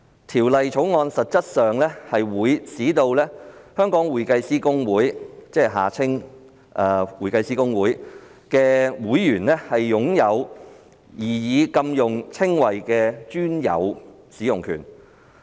《條例草案》實質上會使香港會計師公會的會員擁有擬議的額外指定禁用稱謂的專有使用權。